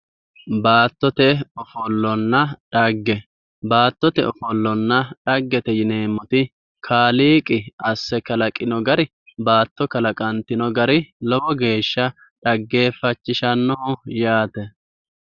Baattote ofollonna dhagge, Baattote ofollonna dhaggete yineemmoti Kaaliiqi asse kalaqino gari baatto kalaqantino gari lowo geeshsha xaggeeffachishannoho yaate.